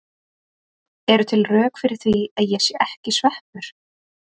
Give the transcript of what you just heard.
Eru til rök fyrir því að ég sé ekki sveppur?